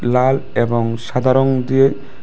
লাল এবং সাদা রং দিয়ে--